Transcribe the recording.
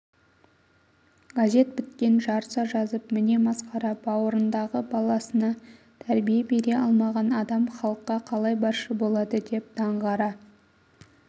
газет біткен жарыса жазып міне масқара бауырындағы баласына тәрбие бере алмаған адам халыққа қалай басшы болады деп даңғара